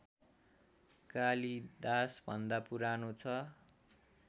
कालिदासभन्दा पुरानो छ